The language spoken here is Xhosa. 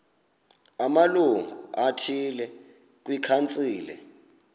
amalungu athile kwikhansile